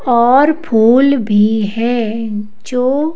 और फूल भी है जो--